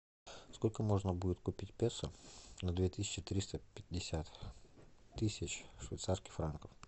сколько можно будет купить песо на две тысячи триста пятьдесят тысяч швейцарских франков